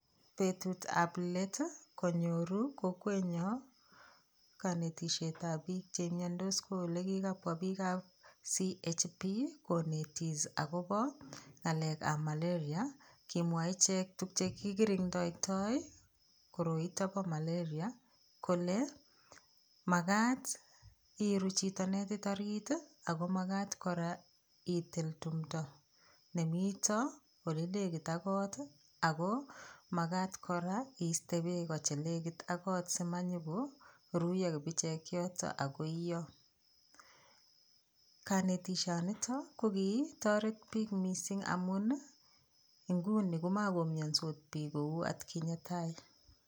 Petut ap let konyoru kokwet nyo kanetishiet ap piik cheimyandos kokigapwa piik ap CHP konetis akopaa ng'alek ap malaria kimwae ichek tukche kigiring'doytoy koroi nitok pa malaria kole makat i'ru chito netit orit ako makat koraa i'til tumdo nemito ole legit ak koot ako makat koraa i'ste peko che legit ak koot simanyikoruyo kibichek yotok ako i'yo, kanetishonotok ko kitoret piik mising' amun inguni komakoimyansot piik kou atkinye tai.